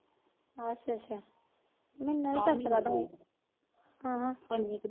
ਅੱਛਾ ਅੱਛਾ ਮੈਨੂੰ ਨੀ ਪਤਾ ਹਾ